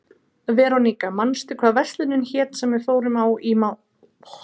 Veróníka, manstu hvað verslunin hét sem við fórum í á mánudaginn?